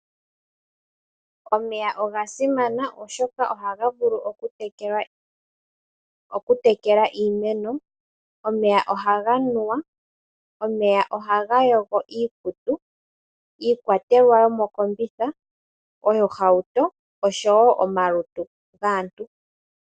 Omeya oga simana oshoka ohaga vulu okutekela iimeno. Aantu niinamwenyo ohaya nu omeya, osho wo okulongitha momagumbo ngaashi okuyoga iikutu niiyaha.